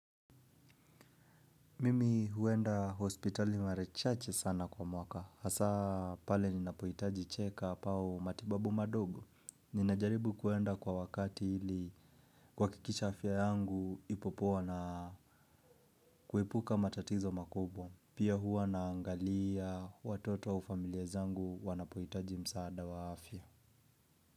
Mimi huenda hospitali mare chache sana kwa mwaka, hasaa pale ninapoitaji check up au matibabu madogo. Ninajaribu kuenda kwa wakati ili kuhakikisha afya yangu ipo poa na kuepuka matatizo makubwa. Pia huwa naangalia watoto au familia zangu wanapohitaji msaada wa afya.